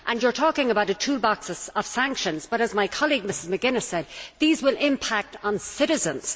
You are talking about a toolbox of sanctions, but as my colleague, Mrs McGuinness, said, these will impact on citizens.